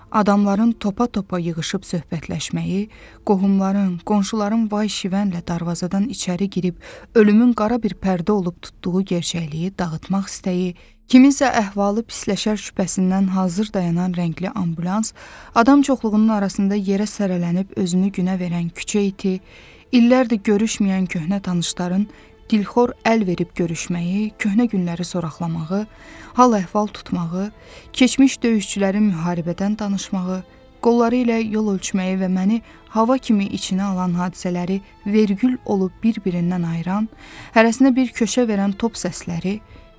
Adamların topa-topa yığışıb söhbətləşməyi, qohumların, qonşuların vay-şivənlə darvazadan içəri girib ölümün qara bir pərdə olub tutduğu gerçəkliyi dağıtmaq istəyi, kiminsə əhvalı pisləşər şübhəsindən hazır dayanan rəngli ambulans, adam çoxluğunun arasında yerə sələlənib özünü günə verən küçə iti, illərdir görüşməyən köhnə tanışların dilxor əl verib görüşməyi, köhnə günləri sorqulamağı, hal əhval tutmağı, keçmiş döyüşçülərin müharibədən danışmağı, qolları ilə yol ölçməyi və məni hava kimi içinə alan hadisələri vergül olub bir-birindən ayıran, hərəsinə bir köçə verən top səsləri.